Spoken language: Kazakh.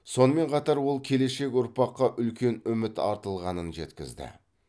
сонымен қатар ол келешек ұрпаққа үлкен үміт артылғанын жеткізді